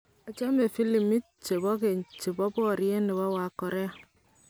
achame filamuit che keny che bo boriet ne bo wakorae.